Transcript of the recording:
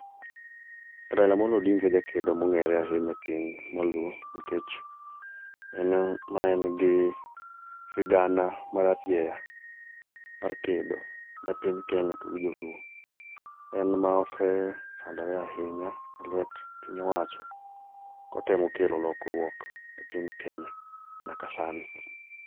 Raila Amollo Odinga e jakedo mong'ere ahinya e piny mar luo nikech en maen gi sigana mararieya mar kedo ne piny Kenya to gi joluo. En ma osesandore ahinya e lwet piny owacho kotemo kelo lokruok e piny Kenya nyaka sani.